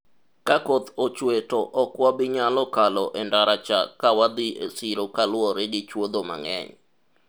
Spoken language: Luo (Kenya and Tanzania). ka koth ochwe to ok wabinyalo kalo e ndara cha ka wadhi e siro kaluwore gi chuodho mang'eny